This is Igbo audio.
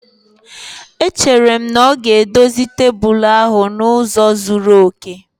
Echere m na ọ ga-edozi tebụl ahụ n'ụzọ zuru oke